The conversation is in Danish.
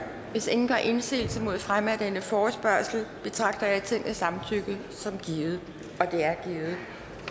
hvis ingen gør indsigelse mod fremme af denne forespørgsel betragter jeg tingets samtykke som givet det